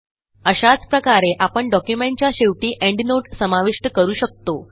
अशाच प्रकारे आपण डॉक्युमेंटच्या शेवटी एंडनोट समाविष्ट करू शकतो